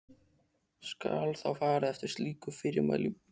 Skal þá farið eftir slíkum fyrirmælum.